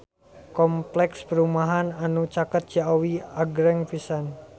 Kompleks perumahan anu caket Ciawi agreng pisan